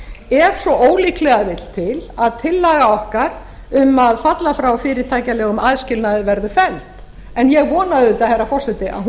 ef svo ólíklega vill til að tillaga okkar um að falla frá fyrirtækjalegum aðskilnaði verður felld en ég vona auðvitað herra forseti að hún